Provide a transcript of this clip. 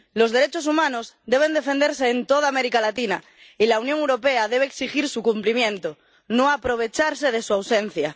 Los derechos humanos deben defenderse en toda América Latina, y la Unión Europea debe exigir su cumplimiento, no aprovecharse de su ausencia.